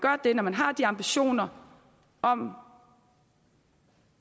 når man har de ambitioner om